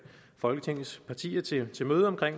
folketingets partier til til møde om